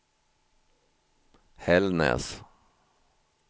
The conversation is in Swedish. Hällnäs